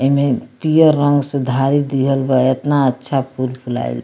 ऐमें पियर रंग से धारी दिहल बा एतना अच्छा फुल-फुलाइल --